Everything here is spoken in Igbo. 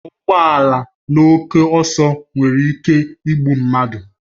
Ịkwọ ụgbọ ala na oke ọsọ nwere ike igbu mmadụ